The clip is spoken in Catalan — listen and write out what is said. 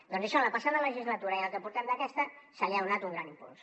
doncs a això en la passada legislatura i en el que portem d’aquesta se li ha donat un gran impuls